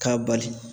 K'a bali